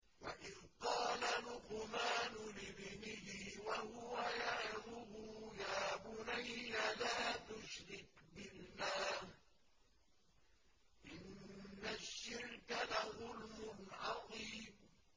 وَإِذْ قَالَ لُقْمَانُ لِابْنِهِ وَهُوَ يَعِظُهُ يَا بُنَيَّ لَا تُشْرِكْ بِاللَّهِ ۖ إِنَّ الشِّرْكَ لَظُلْمٌ عَظِيمٌ